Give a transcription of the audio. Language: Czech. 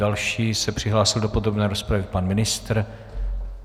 Další se přihlásil do podrobné rozpravy pan ministr.